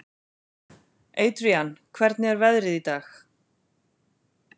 Adrian, hvernig er veðrið í dag?